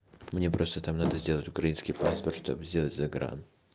мне просто там надо сделать украинский паспорт чтоб сделать загран